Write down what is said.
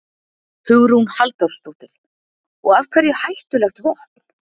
Hugrún Halldórsdóttir: Og af hverju hættulegt vopn?